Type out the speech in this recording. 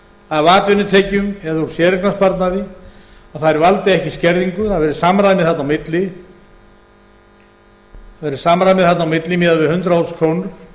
af atvinnutekjum eða úr séreignarsparnaði að þær valdi ekki skerðingu og það verði samræmi þarna á milli miðað við hundrað þúsund króna